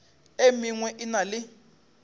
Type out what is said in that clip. e mengwe e na le